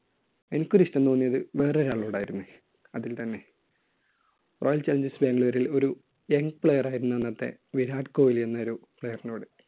എനിക്ക് ഒരു ഇഷ്ടം തോന്നിയത് വേറൊരു ആളോടായിരുന്നു. അതിൽ തന്നെ. royal challengers bangalore ൽ ഒരു young player ആയിരുന്നു അന്നത്തെ വിരാട് കോഹ്ലി എന്നൊരു player നോട്.